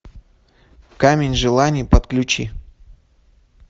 камень желаний подключи